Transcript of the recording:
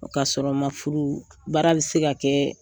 k'a sɔrɔ ma furu baara bi se ka kɛ,